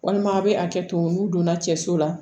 Walima a bɛ hakɛ to n'u donna cɛ so la